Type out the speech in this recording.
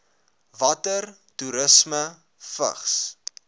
water toerisme vigs